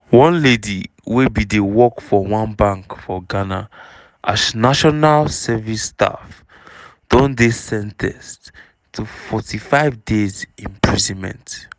one lady wey bin dey work for one bank for ghana as national service staff don dey sen ten ced to forty five days imprisonment.